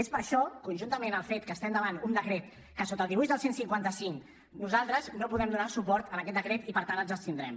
és per això conjuntament amb el fet que estem davant un decret sota el dibuix del cent i cinquanta cinc que nosaltres no podem donar suport en aquest decret i per tant ens abstindrem